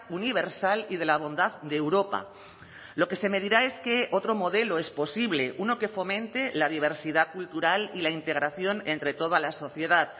universal y de la bondad de europa lo que se me dirá es que otro modelo es posible uno que fomente la diversidad cultural y la integración entre toda la sociedad